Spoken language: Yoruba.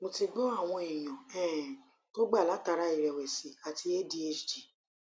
mo ti gbo awon eyan um to gba latara irewesi ati adhd